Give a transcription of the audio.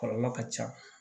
Kɔlɔlɔ ka ca